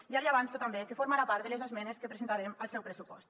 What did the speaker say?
ja li avanço també que formarà part de les esmenes que presentarem al seu pressupost